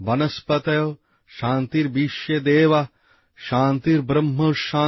বনস্তপ্তয়ঃ শান্তি শান্তিব্রহ্মঃদেবা শান্তির্বিশ্বেঃ